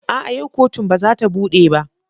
A'a! yau kotun ba za ta bude ba.